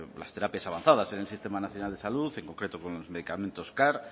las terapias avanzadas en el sistema nacional de salud en concreto con los medicamentos car